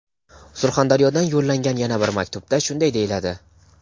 Surxondaryodan yo‘llangan yana bir maktubda shunday deyiladi:.